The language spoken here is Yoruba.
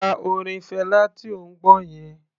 Pa orin Fela tí ò ń gbọ́ yẹn.